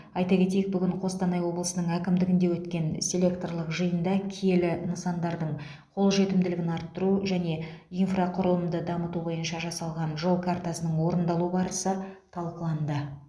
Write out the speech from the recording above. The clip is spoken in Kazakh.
айта кетейік бүгін қостанай облысының әкімдігінде өткен селекторлық жиында киелі нысандардың қолжетімділігін арттыру және инфрақұрылымды дамыту бойынша жасалған жол картасының орындалу барысы талқыланды